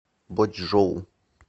бочжоу